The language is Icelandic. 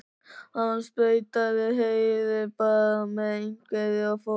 Hann sprautaði Heiðu bara með einhverju og fór.